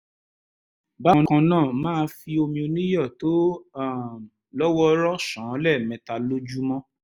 bákan náà máa fi omi oníyọ̀ tó um lọ́ wọ́ọ́rọ́ ṣàn án lẹ́ẹ̀mẹta lójúmọ́